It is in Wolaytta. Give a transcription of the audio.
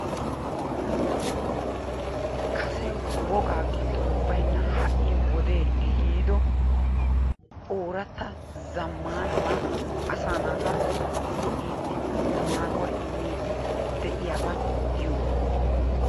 Kase wogaa giddon baynna ha"i wodee ehiido ooratta zammaanabaa asaa asaa naata go'iiddi, maaduwa immiiddi de'iyaba giyogaa.